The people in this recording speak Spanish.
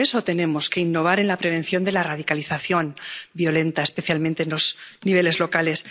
y, por eso, tenemos que innovar en la prevención de la radicalización violenta, especialmente en los niveles locales